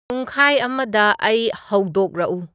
ꯄꯨꯡꯈꯥꯏ ꯑꯃꯗ ꯑꯩ ꯍꯧꯗꯣꯛꯔꯛꯎ